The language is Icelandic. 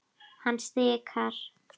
Hann stikar.